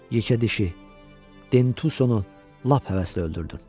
Yekədişi Dentuso-nu lap həvəslə öldürdün.